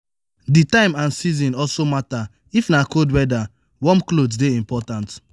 di time and season also matter if na cold weather warm cloth dey important